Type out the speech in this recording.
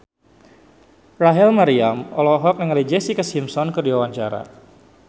Rachel Maryam olohok ningali Jessica Simpson keur diwawancara